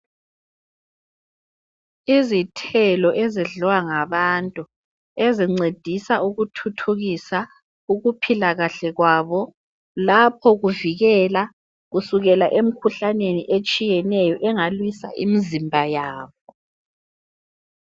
Izithelo ezidliwa ngabantu ezincedisa ukuthuthukisa ukuphila kahle kwabo lapho kuvikela kusukela emkhuhlaneni etshiyeneyo engalwisa imizimba yabo.